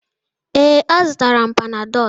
Ee, azụrụ m Panadolụ.